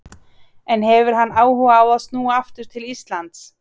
En hefur hann áhuga á að snúa aftur til Íslands?